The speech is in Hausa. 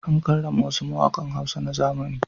An karrama wasu mawaƙan Hausa na zamani.